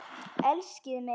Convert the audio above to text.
Elskið mitt!